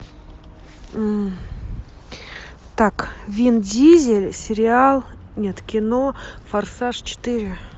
так вин дизель сериал нет кино форсаж четыре